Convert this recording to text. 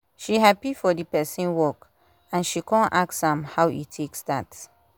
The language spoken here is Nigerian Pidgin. she happy for d person work and she kon ask am how e take start